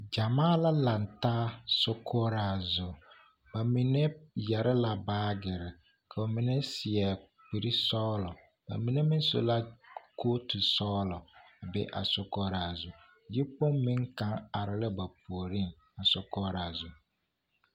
Gyamaa la lantaa sokoɔraa zu, bamine yɛre la baagiri ka bamine seɛ kuri sɔgelɔ bamine meŋ su la kootu sɔgelɔ a be a sokoɔraa zu yikpoŋ meŋ kaŋ are la ba puoriŋ a sokoɔraa zu.